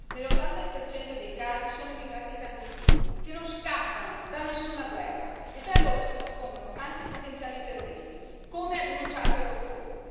Nell'80 dei casi sono immigrati clandestini, che non scappano da nessuna guerra e tra loro si nascondono anche potenziali terroristi, come ha denunciato Europol.